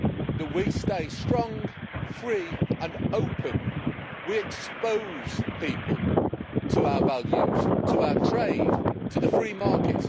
that we stay strong, free and open, and that we expose people to our values, to our trade, to the free market.